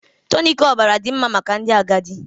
Tonic ọbara dị mma maka ndị agadi